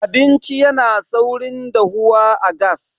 abinci yana saurin dahuwa a gas